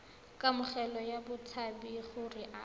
kamogelo ya batshabi gore a